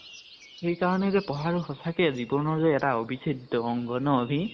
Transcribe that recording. সেইকাৰণে যে পঢ়াতো সচাঁকে জীৱনৰ যে অভিচ্ছেদ্য় অংগ ন আভি ?